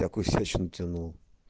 такую всячину тянул